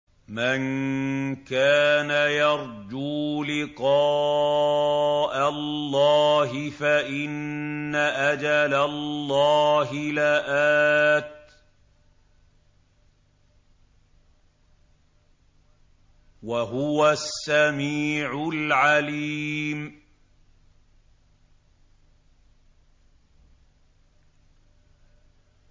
مَن كَانَ يَرْجُو لِقَاءَ اللَّهِ فَإِنَّ أَجَلَ اللَّهِ لَآتٍ ۚ وَهُوَ السَّمِيعُ الْعَلِيمُ